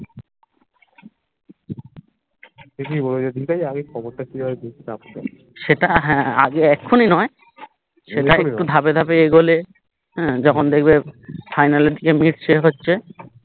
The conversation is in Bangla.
সেটা হ্যা আগে এখুনি নয় সেটা একটু ধাপে ধাপে এগোলে হম যখন দেখবে final এর দিকে মিটছে হচ্ছে